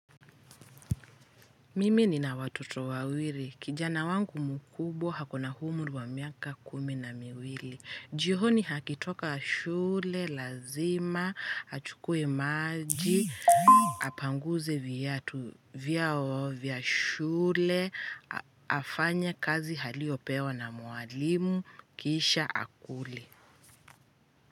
Mimi nina watoto wawili. Kijana wangu mkubwa, akona umri wa miaka kumi na miwili. Jioni akitoka shule, lazima achukue maji, apanguze viatu vyao vya shule, afanye kazi aliyopewa na mwalimu, kisha akule.